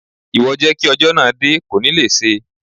Ìwọ jẹ́ kí ọjọ́ náà dé, kò ní le ṣé.